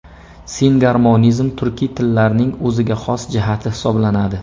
Singarmonizm turkiy tillarning o‘ziga xos jihati hisoblanadi.